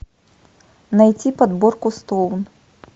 найти подборку стоун